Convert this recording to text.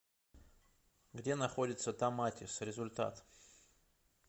где находится томатис результат